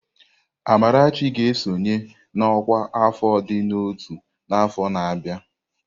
Amarachi ga-esonye na ọkwá afọ ịdị n'ọtú n'afọ na-abịa.